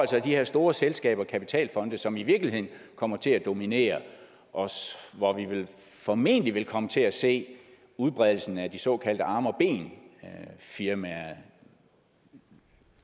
de her store selskaber kapitalfonde som i virkeligheden kommer til at dominere og og vi vil formentlig komme til at se udbredelsen af de såkaldte arme og ben firmaer